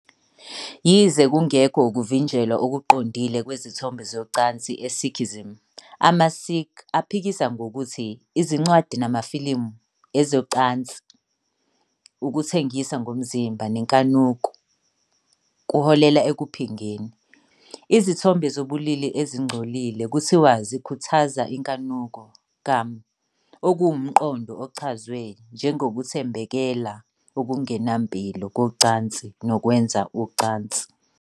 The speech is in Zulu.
Yize kungekho ukuvinjelwa okuqondile kwezithombe zocansi eSikhism, amaSikh aphikisa ngokuthi izincwadi namafilimu ezocansi, ukuthengisa ngomzimba nenkanuko kuholela ekuphingeni. Izithombe zobulili ezingcolile kuthiwa zikhuthaza inkanuko, Kaam, okuwumqondo ochazwe njengokuthambekela okungenampilo kocansi nokwenza ucansi.